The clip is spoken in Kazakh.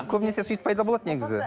көбінесе сөйтіп пайда болады негізі